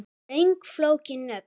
Löng og flókin nöfn